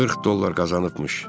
40 dollar qazanıbmış.